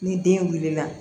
Ni den wulila